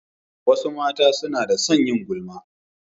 Wasu mata suna da son yin gulma.